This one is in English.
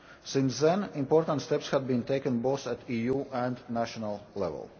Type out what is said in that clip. Since then, important steps have been taken both at EU and national level.